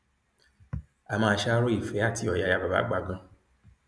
a máa ṣàárò ìfẹ àti ọyàyà bàbá àgbà ganan